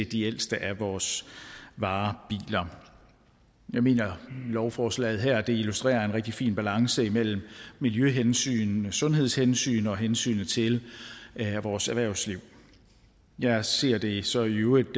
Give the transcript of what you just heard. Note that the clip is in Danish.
de ældste af vores varebiler jeg mener at lovforslaget her illustrerer en rigtig fin balance mellem miljøhensyn sundhedshensyn og hensynet til vores erhvervsliv jeg ser det så i øvrigt